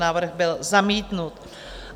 Návrh byl zamítnut.